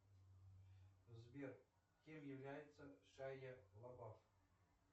сбер кем является шайа лабаф